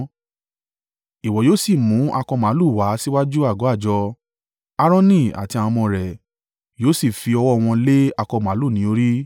“Ìwọ yóò sì mú akọ màlúù wá síwájú àgọ́ àjọ, Aaroni àti àwọn ọmọ rẹ̀ yóò sì fi ọwọ́ wọn lé akọ màlúù ní orí.